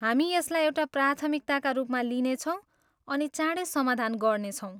हामी यसलाई एउटा प्राथमिकताका रूपमा लिनेछौँ अनि चाँडै समाधान गर्नेछौँ।